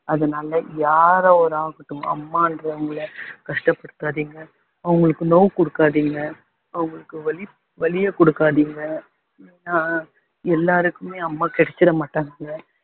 அதனால யார அம்மான்றவங்களை கஷ்டப்படுத்தாதீங்க அவங்களுக்கு நோவு கொடுக்காதீங்க அவங்களுக்கு வலி வலிய கொடுக்காதீங்க ஏன்னா எல்லாருக்குமே அம்மா கிடைச்சுறமாட்டாங்க